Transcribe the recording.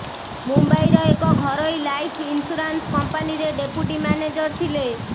ମୁମ୍ବାଇର ଏକ ଘରୋଇ ଲାଇଫ୍ ଇନ୍ସ୍ୟୁରାନ୍ସ କଂପାନୀରେ ଡେପୁଟି ମ୍ୟାନେଜର୍ ଥିଲେ